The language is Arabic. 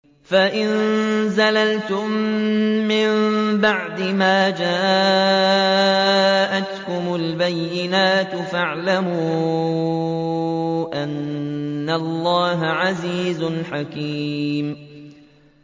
فَإِن زَلَلْتُم مِّن بَعْدِ مَا جَاءَتْكُمُ الْبَيِّنَاتُ فَاعْلَمُوا أَنَّ اللَّهَ عَزِيزٌ حَكِيمٌ